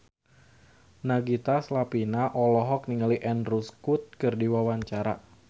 Nagita Slavina olohok ningali Andrew Scott keur diwawancara